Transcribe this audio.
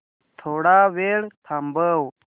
थोडा वेळ थांबव